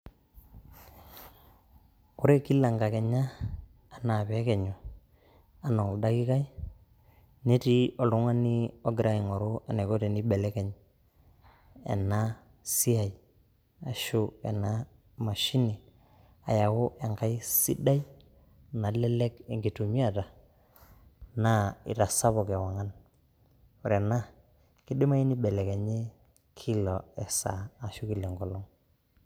Ore kila inkakenya anaa peekenyu anaa oldakikai netii oltungani ogira aing'oru eneiko teneibelekeny ena siaai ashu enaa mashini ayaau enkae sidai nalelek inkitumiata naa etasapuka eong'an, ore ana keidimayu neibelekenyi kila esaa ashu kila enkolong.